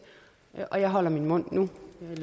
og jeg holder min mund nu